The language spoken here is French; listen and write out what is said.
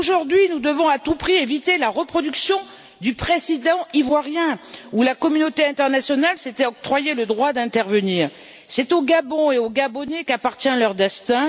Aujourd'hui, nous devons à tout prix éviter la reproduction du précédent ivoirien, où la communauté internationale s'était octroyé le droit d'intervenir. C'est au Gabon et aux Gabonais qu'appartient leur destin.